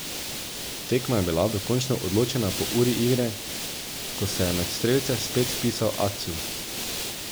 Tekma je bila dokončno odločena po uri igre, ko se je med strelce spet vpisal Atsu.